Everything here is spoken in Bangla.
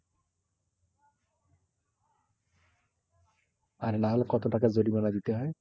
আর নাহলে কত টাকার জরিমানা দিতে হয়?